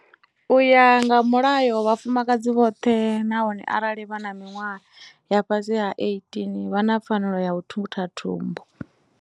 U ya nga Mulayo, vhafumakadzi vhoṱhe, naho arali vha na miṅwaha ya fhasi ha ya 18, vha na pfanelo ya u thutha thumbu.